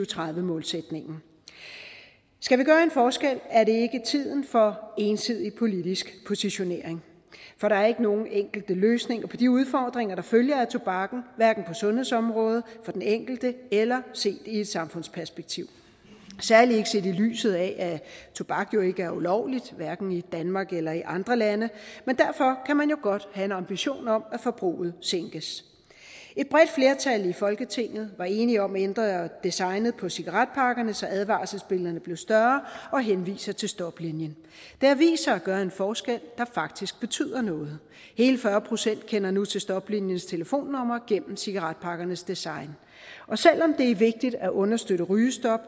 tredive målsætningen skal vi gøre en forskel er det ikke tiden for ensidig politisk positionering for der er ikke nogen enkel løsning på de udfordringer der følger af tobakken hverken på sundhedsområdet for den enkelte eller set i et samfundsperspektiv særlig ikke set i lyset af at tobak ikke er ulovlig hverken i danmark eller i andre lande men derfor kan man jo godt have en ambition om at forbruget sænkes et bredt flertal i folketinget var enige om at ændre designet på cigaretpakkerne så advarselsbillederne blev større og henviser til stoplinien det har vist sig at gøre en forskel der faktisk betyder noget hele fyrre procent kender nu til stopliniens telefonnumre gennem cigaretpakkernes design selv om det er vigtigt at understøtte rygestop